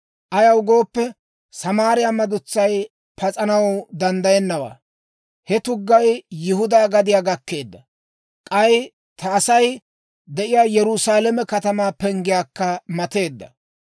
Ayaw gooppe, Samaariyaa madutsay pas'anaw danddayennawaa. He tuggay Yihudaa gadiyaa gakkeedda; k'ay ta Asay de'iyaa Yerusaalame katamaa penggiyaakka mateedda.